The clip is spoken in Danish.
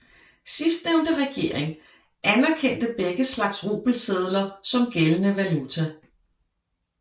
Sidstnævnte regering anerkendte begge slags rubelsedler som gældende valuta